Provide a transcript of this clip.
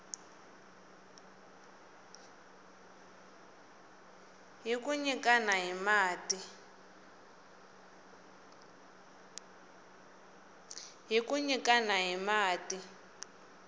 hi ku nyikana hi mati